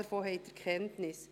Davon haben Sie Kenntnis.